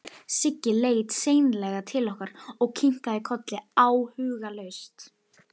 Siggi leit seinlega til okkar og kinkaði kolli áhugalaust.